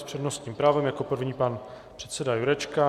S přednostním právem jako první pan předseda Jurečka.